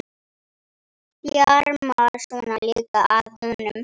Þjarmar svona líka að honum!